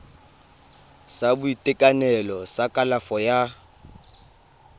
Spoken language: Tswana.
sa boitekanelo sa kalafo ya